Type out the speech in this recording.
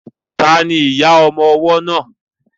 Ta ni ìyá ọmọ ọwọ́ náà?